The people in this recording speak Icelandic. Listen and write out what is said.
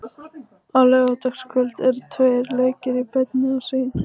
Á laugardagskvöld eru tveir leikir í beinni á Sýn.